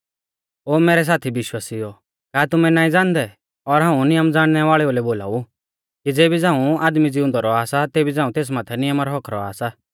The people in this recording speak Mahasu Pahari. ओ मैरै साथी विश्वासिउओ का तुमै नाईं ज़ाणदै और हाऊं नियम ज़ाणनै वाल़ेउ लै बोलाऊ कि ज़ेबी झ़ांऊ आदमी ज़िउंदौ रौआ सा तेबी झ़ांऊ तेस माथै नियमा रौ हक्क्क रौआ सा